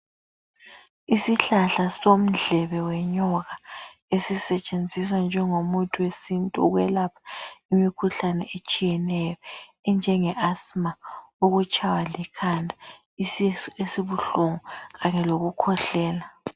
Isihlahla somdleke wenyoka esisetshenziswa njengomuthi wesintu ukwelapha imikhuhlane etshiyeneyo enjenge asima, ukutshaywa likhanda, isisu esibuhlungu kanye lokukhwehlela.